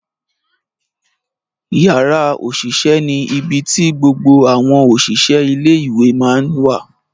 Yara osise ni ibi ti gbogbo awọn oṣiṣẹ ile iwe ma ǹ wa.